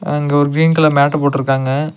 அங்க ஒரு green colour mat போட்டுருக்காங்க.